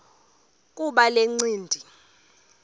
kuba le ncindi